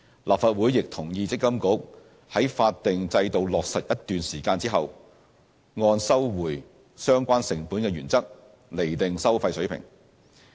立法會亦同意積金局在法定制度落實一段時間後，按收回相關成本的原則，釐定收費水平。